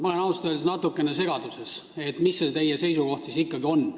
Ma olen ausalt öeldes natukene segaduses, et mis see teie seisukoht siis ikkagi on.